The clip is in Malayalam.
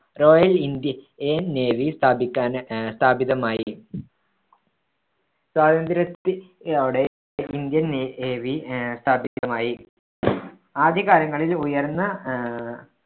റോയൽ ഇന്ത്യ~ൻ നേവി സ്ഥാപിക്കാന് അഹ് സ്ഥാപിതമായി. സ്വാതന്ത്ര്യത്തി~ഓടെ ഇന്ത്യൻ നേവി ആഹ് സ്ഥാപിതമായി. ആദ്യകാലങ്ങളിൽ ഉയർന്ന ആഹ്